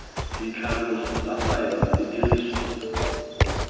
ditlhaloso tsa faele di dirisiwa